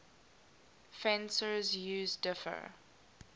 fencers use differ